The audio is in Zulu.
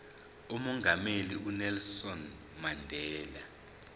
umongameli unelson mandela